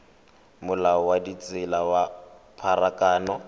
molao wa ditsela wa pharakano